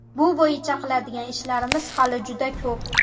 Bu bo‘yicha qiladigan ishlarimiz hali juda ko‘p.